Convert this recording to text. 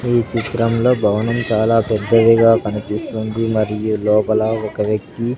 ఈ చిత్రంలో భవనం చాలా పెద్దదిగా కనిపిస్తుంది మరియు లోపల ఒక వ్యక్తి --